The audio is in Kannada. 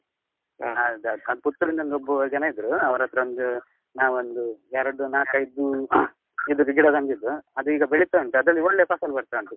ಅದ್ Puttur ಇಂದ ಒಬ್ರು ಜನ ಇದ್ರು ಅವ್ರತ್ರ ಒಂದು ನಾವೊಂದು ಎರಡು ನಾಕೈದು ಇದ್ರದ್ದು ಗಿಡ ತಂದಿದ್ದು ಅದೀಗ ಬೆಳಿತ ಉಂಟು ಅದ್ರಲ್ಲಿ ಒಳ್ಳೆ ಪಸಲು ಬರ್ತಾ ಉಂಟು.